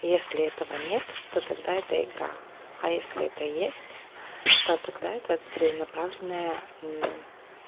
если этого нет то тогда это игра а если это есть то тогда это целенаправленная